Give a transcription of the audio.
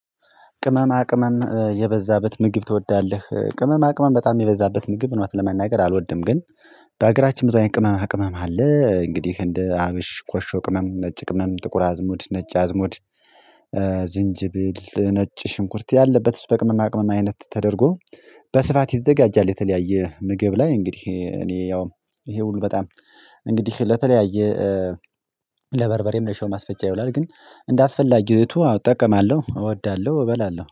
ቅመማ ቅመም የበዛበት ምግብ ትወዳለህ? ቅመማ ቅመም በጣም የበዛበት ምግብ እውነት ለመናገር አልወድም። ግን በሀገራችን ብዙ ቅመማ ቅመም አለ። እንግዲህ እንደ አብሽ ኮሾ ቅመም ነጭ ቅመም ጥቁር አዝሙድ ነጭ አዝሙድ ዝንጅብል ነጭ ሽንኩርት ያለበት ስ በቅመማ ቅመም አይነት ተደርጎ በስፋት ይዘጋጃል። የተለያየ ምግብ ላይ እንግዲህ እኔ ያው ይሄ ሁሉ በጣም እንግዲህ ለተለያየ ለበርበሬም ለሽሮም ማስፈጫ ይውላል ግን እንደ አስፈላጊ ነቱ አጠቀማለሁ እወዳለሁ። እበላለሁ